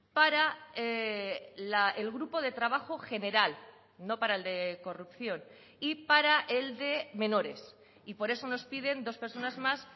para el grupo de trabajo general no para el de corrupción y para el de menores y por eso nos piden dos personas más